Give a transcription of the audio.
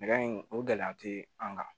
Nɛgɛ in o gɛlɛya tɛ an ka